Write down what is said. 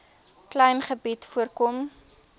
klein gebied voorkom